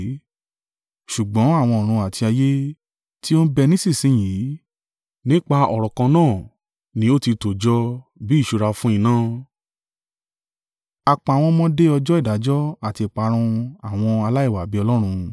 Ṣùgbọ́n àwọn ọ̀run àti ayé, tí ó ń bẹ nísinsin yìí, nípa ọ̀rọ̀ kan náà ni ó ti tò jọ bí ìṣúra fún iná, a pa wọ́n mọ́ de ọjọ́ ìdájọ́ àti ìparun àwọn aláìwà-bí-Ọlọ́run.